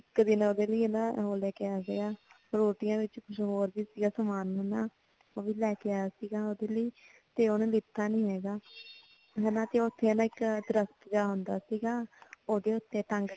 ਇੱਕ ਦਿਨ ਨਾ ਉਹ ਉਹਦੇ ਲਈ ਉਹੋ ਲੈ ਕੇ ਆਇਆ ਸੀਗਾ ਫਰੂਟੀਆਂ ਵਿੱਚ ਕੁੱਝ ਹੋਰ ਵੀ ਸੀਗਾ ਸਮਾਨ ਹਨਾਂ ਉਹ ਵੀ ਲੈ ਕੇ ਆਇਆ ਸੀਗਾ ਉਹਦੇ ਲਈ ਤੇ ਉਹਨੇ ਦਿੱਤਾ ਨੀ ਹੈਗਾ ਹਨਾਂ ਤੇ ਉਥੇ ਨਾ ਇੱਕ ਦਰੱਖਤ ਜਾ ਆਉਂਦਾ ਸੀਗਾ ਉਹਦੇ ਉਤੇ ਟੰਗ ਕੇ